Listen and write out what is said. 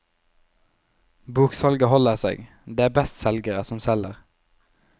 Boksalget holder seg, det er bestselgere som selger.